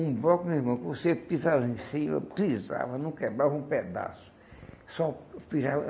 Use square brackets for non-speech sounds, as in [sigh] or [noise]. Um bloco meu irmão, que você pisava em cima, pisava, não quebrava um pedaço. Sò [unintelligible]